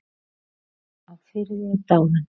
Einar á Firði er dáinn.